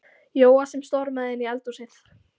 Jóa sem stormaði inn í eldhúsið.